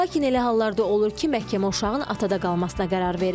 Lakin elə hallarda olur ki, məhkəmə uşağın atada qalmasına qərar verir.